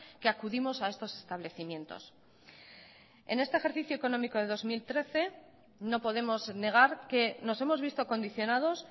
que acudimos a estos establecimientos en este ejercicio económico de dos mil trece no podemos negar que nos hemos visto condicionados